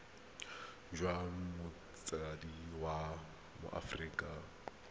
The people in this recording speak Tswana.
jwa motsadi wa mo aforika